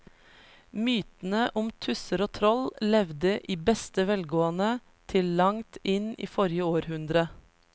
Mytene om tusser og troll levde i beste velgående til langt inn i forrige århundre.